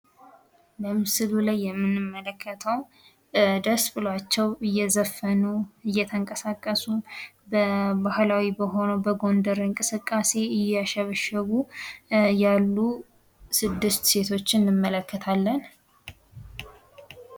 በምስሉ ላይ የምንመለከተው ደስ ብሏቸው እየዘፈኑ፣ እየተንቀሳቀሱ ባህላዊ በሆነው በጎንደር እንቅስቃሴ እያሸበሸቡ ያሉ ስድስት ሴቶችን እንመለከታለን።